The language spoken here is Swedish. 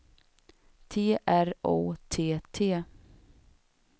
T R O T T